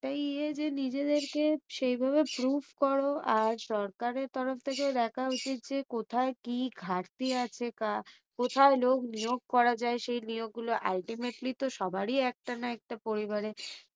তাই ইয়ে যে নিজেদেরকে সেইভাবে proof করো। আর সরকারের তরফ থেকে দেখা উচিত যে কোথায় কি ঘাটতি আছে, কোথায় লোক নিয়োগ করা যাই সেই নিয়োগ গুলো ultimately সবারই একটা না একটা পরিবারে